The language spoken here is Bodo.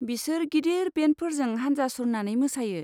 बिसोर गिदिर बेन्डफोरजों हानजा सुरनानै मोसायो।